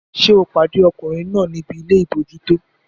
Ṣé o pàdé ọkùnrin náà níbi ilé àbójútó?